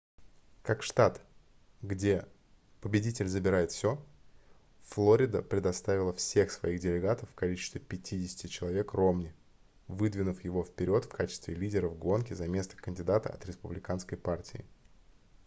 как штат где победитель забирает всё флорида предоставила всех своих делегатов в количестве 50 человек ромни выдвинув его вперёд в качестве лидера в гонке за место кандидата от республиканской партии